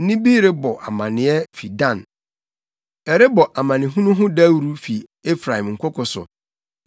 Nne bi rebɔ amanneɛ fi Dan, ɛrebɔ amanehunu ho dawuru fi Efraim nkoko so.